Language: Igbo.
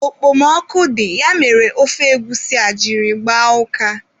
Okpomọkụ dị, ya mere ofe egwusi a jiri gbaa ụka.